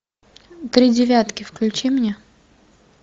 три девятки включи мне